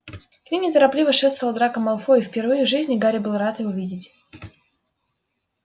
к ним неторопливо шествовал драко малфой и впервые в жизни гарри был рад его видеть